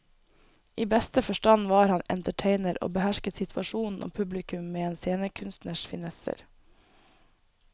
I beste forstand var han entertainer og behersket situasjonen og publikum med en scenekunstners finesser.